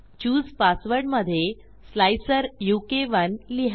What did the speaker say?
चूसे passwordमधे स्लाइसर उ के 1 लिहा